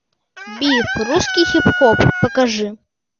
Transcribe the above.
биф русский хип хоп покажи